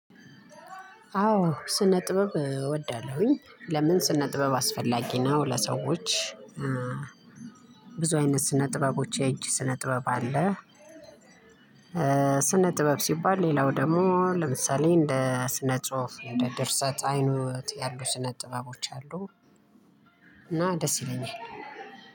አዎ ስነ ጥበብ እወዳለሁኝ ለምን ስነ ጥበብ አስፈላጊ ነው ለሰዎች ብዙ አይነት ስነ ጥበቦች የእጅ ስነ ጥበብ አለ። ስነ ጥበብ ሲባል ሌላው ደግሞ ለምሳሌ እንደ ስነ ጽሁፍ እንደ ድርሰት አይኖት ያሉ ስነ ጥበቦች አሉ። እና ደስ ይለኛል።